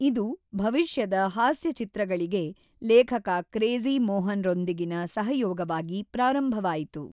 ಇದು ಭವಿಷ್ಯದ ಹಾಸ್ಯ ಚಿತ್ರಗಳಿಗೆ ಲೇಖಕ ಕ್ರೇಜಿ ಮೋಹನ್‌ರೊಂದಿಗಿನ ಸಹಯೋಗವಾಗಿ ಪ್ರಾರಂಭವಾಯಿತು.